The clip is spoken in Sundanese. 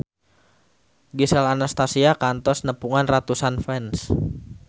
Gisel Anastasia kantos nepungan ratusan fans